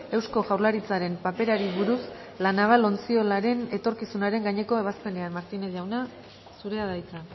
eusko jaurlaritzaren paperari buruz la naval ontziolaren etorkizunaren gaineko ebazpenean martínez jauna zurea da hitza